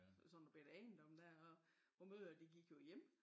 Og sådan noget bette ejendom dér og vores mødre gik jo hjemme